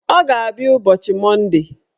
Ọ ga-abịa ụbọchị Monde